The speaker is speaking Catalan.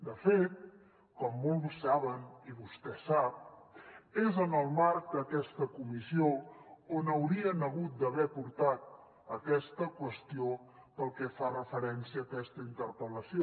de fet com molt bé saben i vostè sap és en el marc d’aquesta comissió on haurien hagut d’haver portat aquesta qüestió pel que fa referència a aquesta interpel·lació